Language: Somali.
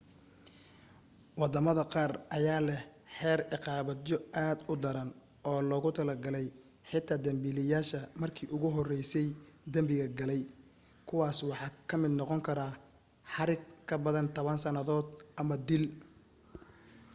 waddamada qaar ayaa leh xeer ciqaabeedyo aad u daran oo loogu talagalay xitaa dambiilayaasha markii ugu horeysay danbiga galay kuwaas waxa ka mid noqon karaa xarig ka badan 10 sannadood ama dil